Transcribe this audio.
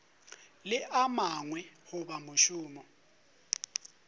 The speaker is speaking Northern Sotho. le a mangwe goba mošomo